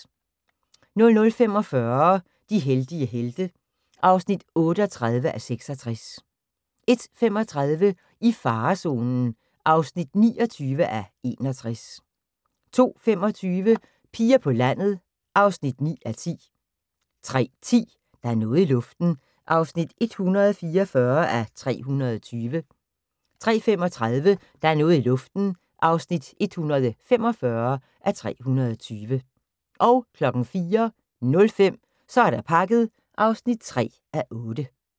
00:45: De heldige helte (38:66) 01:35: I farezonen (29:61) 02:25: Piger på landet (9:10) 03:10: Der er noget i luften (144:320) 03:35: Der er noget i luften (145:320) 04:05: Så er der pakket (3:8)